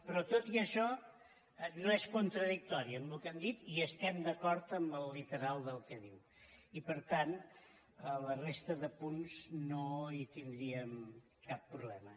però tot i això no és contradictori amb el que hem dit i estem d’acord amb el literal del que diu i per tant a la res·ta de punts no tindríem cap problema